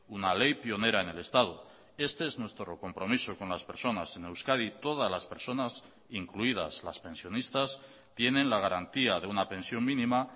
una ley pionera en el estado este es nuestro compromiso con las personas en euskadi todas las personas incluidas las pensionistas tienen la garantía de una pensión mínima